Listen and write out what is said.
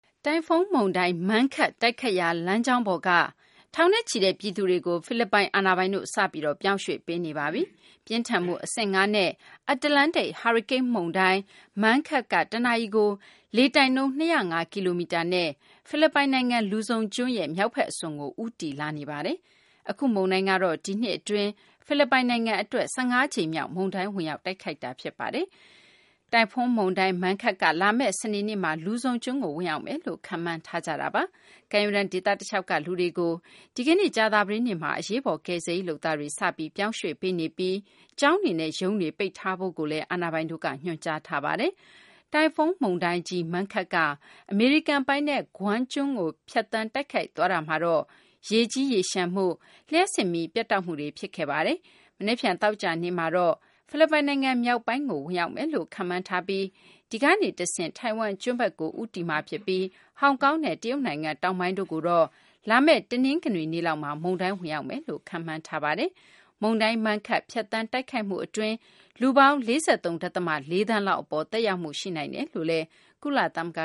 တိုင်ဖွန်းမုန်တိုင်း Mangkhut တိုက်ခတ်ရာ လမ်းကြောင်းပေါ်က ထောင်နဲ့ချီတဲ့ ပြည်သူတွေကို ဖိလစ်ပိုင် အာဏာပိုင်တို့ စပြီး ပြောင်းရွှေ့ပေးနေပါပြီ။ ပြင်းထန်မှု အဆင့် ၅ နဲ့ အတ္တလန္တိတ် ဟာရီကိန်းမုန်တိုင်း Mangkhut က တနာရီကို လေတိုက်နှုန်း ၂၀၅ ကီလိုမီတာနဲ့ ဖိလစ်ပိုင်နိုင်ငံ လူဇုံကျွန်းရဲ့ မြောက်ဘက် အစွန်ကို ဦးတည်လာနေပါတယ်။ အခုမုန်တိုင်းကတော့ ဒီနှစ် အတွင်း ဖိလစ်ပိုင်နိုင်ငံ အတွက် ၁၅ ကြိမ်မြောက် မုန်တိုင်း ဝင်ရောက် တိုက်ခတ်တာ ဖြစ်ပါတယ်။ တိုင်ဖွန်း မုန်တိုင်း Mangkhut က လာမယ့် စနေနေ့မှာ လူဇုံကျွန်းကို ဝင်ရောက်လာမယ်လို့ ခန့်မှန်းထားကြပါတယ်။ ကမ်းရိုးတန်း ဒေသ တလျှောက်က လူတွေကို ဒီကနေ့ ကြာသပတေးနေ့မှာ အရေးပေါ် ကယ်ဆယ်ရေး လုပ်သားတွေ စပြီး ပြောင်းရွှေ့ပေးနေပြီး ကျောင်းတွေနဲ့ ရုံးတွေ ပိတ်ဖို့လည်း အာဏာပိုင်တို့က ညွှန်ကြားထားပါတယ်။ တိုင်ဖွန်း မုန်တိုင်းကြီး Mangkhut က အမေရိကန် ပိုင်နက် Guam ကျွန်းကို ဖြတ်သန်းတိုက်ခတ်သွားတာမှာတော့ ရေကြီးရေလျှံမှု၊ လျှပ်စစ်မီး ပြတ်တောက်မှုတွေ ဖြစ်ခဲ့ပါတယ်။ မနက်ဖြန် သောကြာနေ့မှာတော့ ဖိလစ်ပိုင်နိုင်ငံ မြောက်ပိုင်းကို Mangkhut ဝင်ရောက်မယ်လို့ ခန့်မှန်းထားပြီး ဒီကနေ တဆင့် ထိုင်ဝမ်ကျွန်းဘက်ကို ဦးတည်သွားပြီး ဟောင်ကောင်နဲ့ တရုတ်နိုင်ငံ တောင်ပိုင်းတို့ကိုတော့ လာမယ့် တနင်္ဂနွေနေ့ လောက်မှာ မုန်တိုင်း ဝင်ရောက်မယ်လို့ ခန့်မှန်းထားပါတယ်။ မုန်တိုင်း Mangkhut ဖြတ်သန်းတိုက်ခတ်မှု အတွင်း လူပေါင်း ၄၃ ဒသမ ၄ သန်းလောက် သက်ရောက်မှု ရှိနိုင်တယ်လို့ ကုလသမဂ